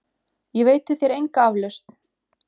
Ég veiti þér enga aflausn!